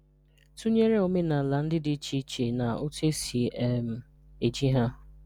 Tụ̀nyerè òmènàlà ndị́ dị̀ ichèichè na òtù esi um eji ha.